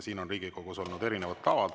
Siin Riigikogus on olnud erinevad tavad.